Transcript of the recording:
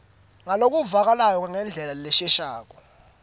ngalokuvakalako ngendlela leshelelako